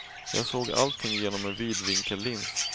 Jag såg allting genom en vidvinkellins.